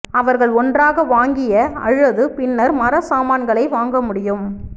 அவர்கள் ஒன்றாக வாங்கிய அல்லது பின்னர் மரச்சாமான்களை வாங்க முடியும்